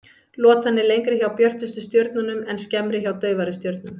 Lotan er lengri hjá björtustu stjörnunum en skemmri hjá daufari stjörnum.